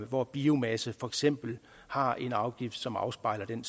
hvor biomasse for eksempel har en afgift som afspejler den